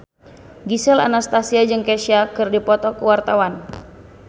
Gisel Anastasia jeung Kesha keur dipoto ku wartawan